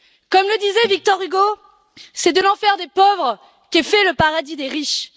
Comme le disait Victor Hugo c'est de l'enfer des pauvres qu'est fait le paradis des riches.